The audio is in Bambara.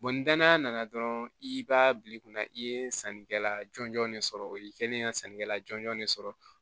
ni danaya nana dɔrɔn i b'a bila i kunna i ye sanni kɛla jɔnjɔn de sɔrɔ o y'i kɛlen ye ka sanni kɛla jɔn de sɔrɔ